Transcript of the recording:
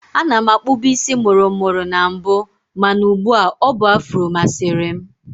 Ana m akpụbu isi mụrụ mụrụ na mbụ mana ụgbu a, ọ bụ afro masịrị m